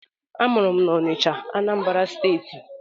Amụrụ m na Ọnịcha, Anambra steeti